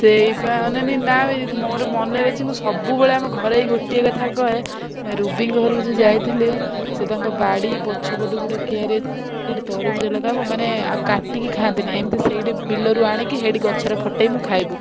ସେଇବା ଅନାନି ନାବେ ମୋର ମନେ ଅଛି ମୁଁ ସବୁବେଳେ ଘରେ ଏଇ ଗୋଟେ କଥା କହେ ରୁବିଙ୍କ ଘରକୁ ଯୋଉ ଯାଇଥିଲୁ ସେ ତାଙ୍କ ବାଡି ପଛପଟେ ଗୋଟେ ସେଇଠି ତରବୁଜ ଲଗାହବ ମାନେ ଆଉ କାଟିକି ଖାଆନ୍ତିନି ଏମତି ସେଇଠି ବିଲରୁ ଆଣିକି ଗଛରେ ଫଟେଇକି ଖାଇବୁ।